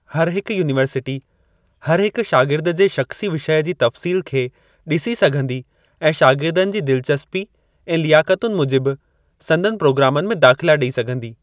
हर हिक यूनीवर्सिटी हर हिक शागिर्द जे शख़्सी विषय जी तफ़्सील खे डि॒सी सघंदी ऐं शागिर्दनि जी दिलचस्पी ऐं लियाकतुनि मूजिबि संदनि प्रोग्रामनि में दाख़िला डे॒ई सघंदी।